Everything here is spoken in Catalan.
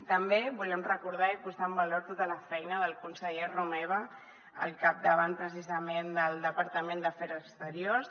també volem recordar i posar en valor tota la feina del conseller romeva al capdavant precisament del departament d’afers exteriors